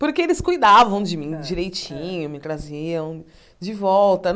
Porque eles cuidavam de mim direitinho, me traziam de volta.